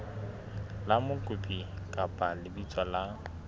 la mokopi kapa lebitso la